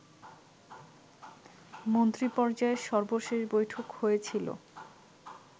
মন্ত্রীপর্যায়ের সর্বশেষ বৈঠক হয়েছিল